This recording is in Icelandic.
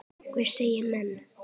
Hvað segja menn?